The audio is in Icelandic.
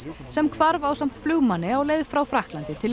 sem hvarf ásamt flugmanni á leið frá Frakklandi til